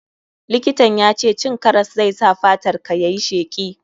Likitan ya ce cin karas zai sa fatar ka yayi sheki.